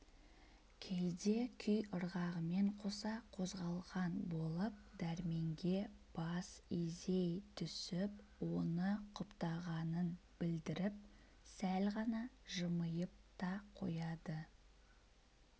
кейде күй ырғағымен қоса қозғалған болып дәрменге бас изей түсіп оны құптағанын білдріп сәл ғана жымиып та қояды